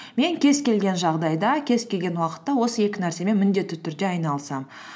мен кез келген жағдайда кез келген уақытта осы екі нәрсемен міндетті түрде айналысамын